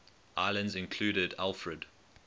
islands included alfred